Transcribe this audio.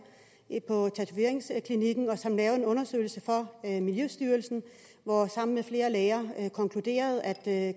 på tatoveringsklinikken og som lavede en undersøgelse for miljøstyrelsen hvor han sammen med flere læger konkluderede at